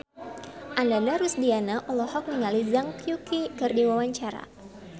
Ananda Rusdiana olohok ningali Zhang Yuqi keur diwawancara